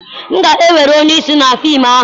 M ga-ewere onye isi na fim ahụ.